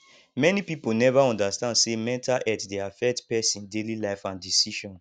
many pipo neva undastand say mental health dey affect pesin daily life and decision